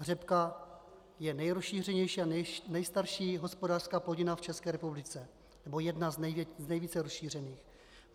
Řepka je nejrozšířenější a nejstarší hospodářská plodina v České republice, nebo jedna z nejvíce rozšířených.